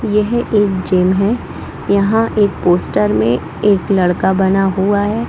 ये है एक जिम है यहाँ एक पोस्टर में एक लड़का बना हुआ है।